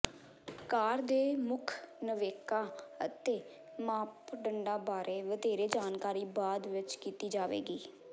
ਕਾਰ ਦੇ ਮੁੱਖ ਨਵੇਕਾਂ ਅਤੇ ਮਾਪਦੰਡਾਂ ਬਾਰੇ ਵਧੇਰੇ ਜਾਣਕਾਰੀ ਬਾਅਦ ਵਿੱਚ ਕੀਤੀ ਜਾਵੇਗੀ